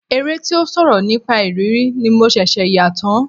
Eré tí ó sọ̀rọ̀ nípa ìrírí ni mo ṣẹ̀ṣẹ̀ yà tán.